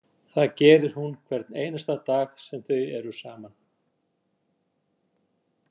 Það gerir hún hvern einasta dag sem þau eru saman.